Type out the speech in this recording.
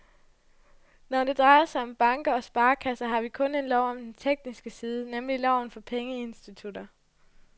Når det drejer sig om banker og sparekasser, har vi kun en lov om den tekniske side, nemlig loven for pengeinstitutter.